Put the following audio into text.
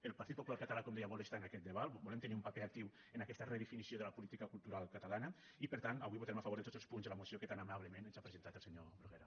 el partit popular català com deia vol estar en aquest debat volem tenir un paper actiu en aquesta redefinició de la política cultural catalana i per tant avui votarem a favor de tots els punts de la moció que tan amablement ens ha presentat el senyor bruguera